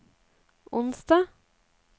onsdag